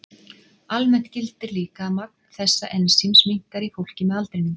Almennt gildir líka að magn þessa ensíms minnkar í fólki með aldrinum.